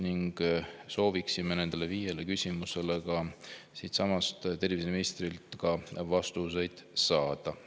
Me sooviksime nendele viiele küsimusele siinsamas terviseministrilt vastuseid saada.